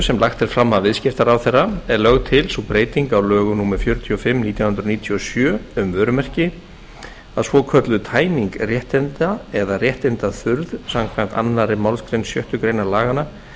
sem lagt er fram af viðskiptaráðherra er lögð til sú breyting á lögum númer fjörutíu og fimm nítján hundruð níutíu og sjö um vörumerki að svokölluð tæming réttinda eða réttindaþurrð samkvæmt annarri málsgrein sjöttu grein laganna